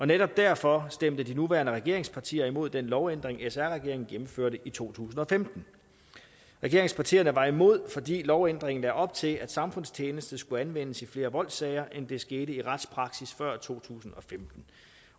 netop derfor stemte de nuværende regeringspartier imod den lovændring sr regeringen gennemførte i to tusind og femten regeringspartierne var imod fordi lovændringen lagde op til at samfundstjeneste skulle anvendes i flere voldssager end det skete i retspraksis før to tusind